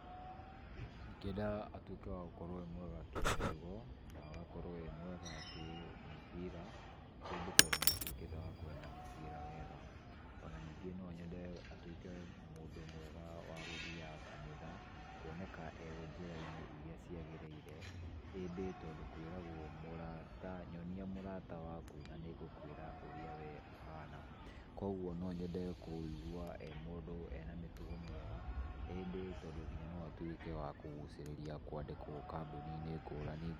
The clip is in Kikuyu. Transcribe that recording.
Ingienda atuĩke gũkorwo e mwega kĩmĩtugo na gakorwo emwega kĩmĩbira ĩndĩ, tondũ nĩatuĩkĩte wa kwenda mũbira wega. Ona ningĩ no nyende atuĩke mũndũ mwega wa gũthiaga kanitha, kuoneka e njĩra-inĩ irĩa ciagĩrĩire ĩndĩ, tondũ kwĩragwo nyonia mũrata waku na nĩngũkwĩra ũrĩa we ũhana. Kogwo no nyende kũigua e mũndũ e na mĩtugo mĩega ĩndĩ, tondũ nginya no atuĩke wa kũgucĩrĩria kwandĩkwo kambuni-inĩ ngũrani.